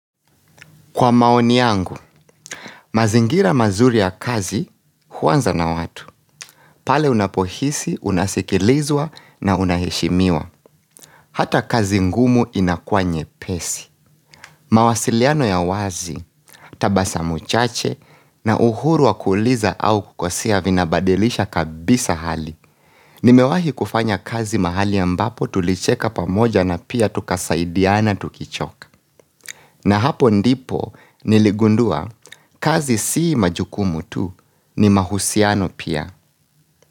Kwa maoni yangu, mazingira mazuri ya kazi huanza na watu. Pale unapohisi, unasikilizwa na unaheshimiwa. Hata kazi ngumu inakua nye pesi. Mawasiliano ya wazi, tabasamu chache na uhuru wa kuuliza au kukosea vinabadilisha kabisa hali. Nimewahi kufanya kazi mahali ambapo tulicheka pamoja na pia tukasaidiana tukichoka. Na hapo ndipo niligundua kazi si majukumu tu ni mahusiano pia.